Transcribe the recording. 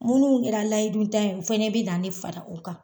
Minnu kɛra layidu tan yen u fɛnɛ bina ne fara u kan